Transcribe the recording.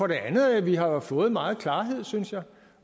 det andet at vi har fået meget klarhed synes jeg